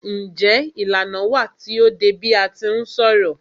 Njé ìlànà wà tí o dé bi a ti ń ṣọ̀rọ̀?